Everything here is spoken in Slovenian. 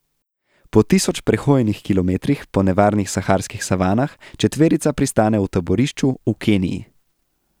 Po tisoč prehojenih kilometrih po nevarnih saharskih savanah četverica pristane v taborišču v Keniji.